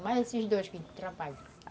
Mais esses dois que trabalham.